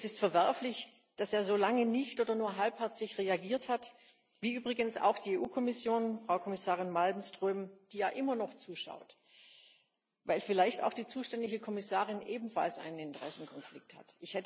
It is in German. Es ist verwerflich, dass er so lange nicht oder nur halbherzig reagiert hat wie übrigens auch die EU Kommission, Frau Kommissarin Malmström, die ja immer noch zuschaut, weil vielleicht auch die zuständige Kommissarin ebenfalls einen Interessenkonflikt hat.